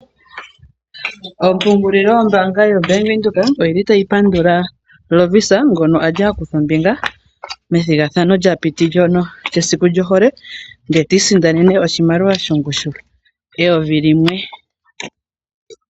Ompungulilo yombaanga yoBank Windhoek oyi li tayi pandula Lovisa ngono a li a kutha ombinga methigathano lya piti ndyono lyesiku lyohole, ndee ti isindanena oshimaliwa shongushu yeyovi limwe.